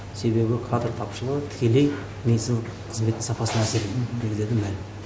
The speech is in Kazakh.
себебі кадр тапшылығы тікелей медицина қызметінің сапасына әсер ететіні мәлім